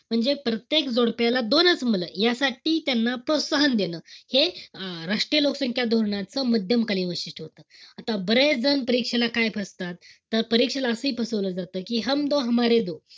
म्हणजे प्रत्येक जोडप्याला दोनच मुलं. ह्यासाठी त्यांना प्रोत्साहन देणं. हे अं राष्ट्रीय लोकसंख्या धोरणाच मध्यमकालीन वैशिष्ट्य. आता बरेच जण परीक्षेला काय फसतात. तर परीक्षेला असंही फसवलं जात कि ,